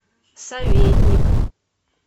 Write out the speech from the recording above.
советник